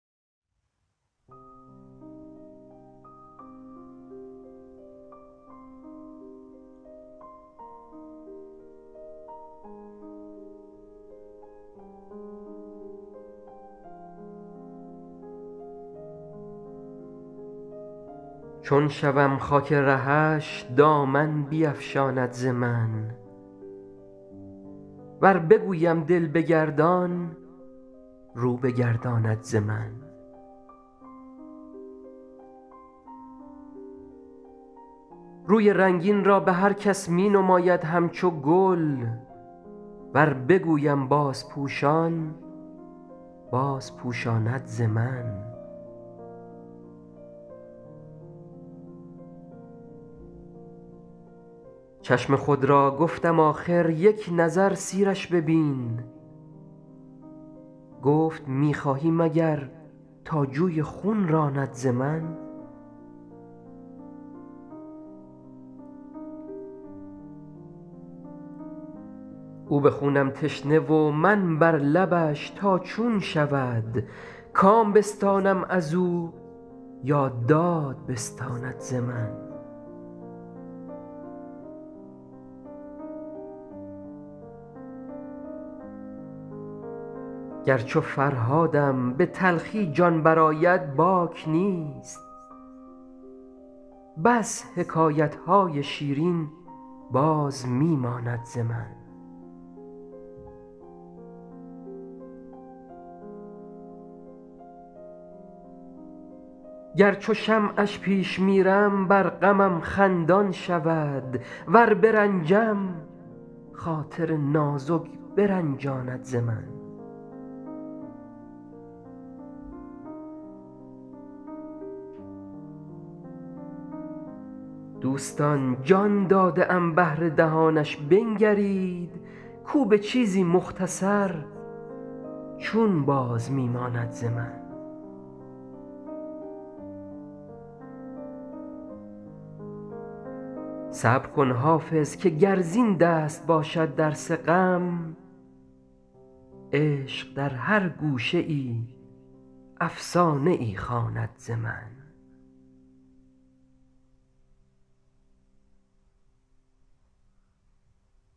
چون شوم خاک رهش دامن بیفشاند ز من ور بگویم دل بگردان رو بگرداند ز من روی رنگین را به هر کس می نماید همچو گل ور بگویم بازپوشان بازپوشاند ز من چشم خود را گفتم آخر یک نظر سیرش ببین گفت می خواهی مگر تا جوی خون راند ز من او به خونم تشنه و من بر لبش تا چون شود کام بستانم از او یا داد بستاند ز من گر چو فرهادم به تلخی جان برآید باک نیست بس حکایت های شیرین باز می ماند ز من گر چو شمعش پیش میرم بر غمم خندان شود ور برنجم خاطر نازک برنجاند ز من دوستان جان داده ام بهر دهانش بنگرید کو به چیزی مختصر چون باز می ماند ز من صبر کن حافظ که گر زین دست باشد درس غم عشق در هر گوشه ای افسانه ای خواند ز من